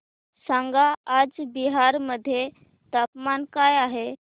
सांगा आज बिहार मध्ये तापमान काय आहे